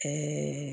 Ɛɛ